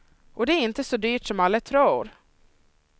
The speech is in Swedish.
Och det är inte så dyrt som alla tror.